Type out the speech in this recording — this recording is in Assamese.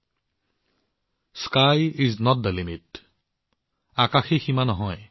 যেন ৰকেট তৈয়াৰ কৰা এই যুৱসকলে কৈছে আকাশেই সীমা নহয়